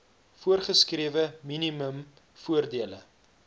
voorgeskrewe minimum voordele